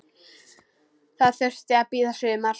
Það þurfti að bíða sumars.